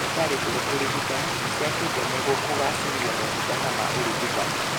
Thibitari njerũ ũrigitani nĩciakĩtwo nĩguo kũgacĩrithia motungata ma ũrigitani